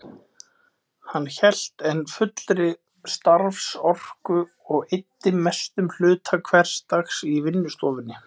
Hann hélt enn fullri starfsorku og eyddi mestum hluta hvers dags í vinnustofunni.